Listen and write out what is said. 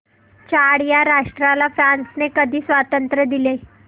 Chad या राष्ट्राला फ्रांसने कधी स्वातंत्र्य दिले